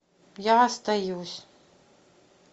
я остаюсь